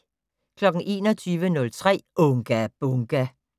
21:03: Unga Bunga!